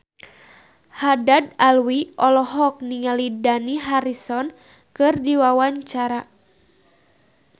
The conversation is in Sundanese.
Haddad Alwi olohok ningali Dani Harrison keur diwawancara